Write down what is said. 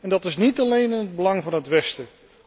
Dat is niet alleen in het belang van het Westen.